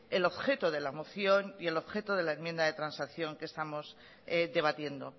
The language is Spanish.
el objeto de la moción y el objeto de la enmienda de transacción que estamos debatiendo